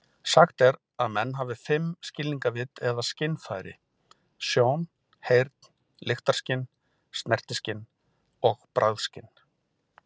Sagt er að menn hafir fimm skilningarvit eða skynfæri: sjón, heyrn, lyktarskyn, snertiskyn og bragðskyn.